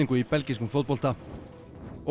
í belgískum fótbolta og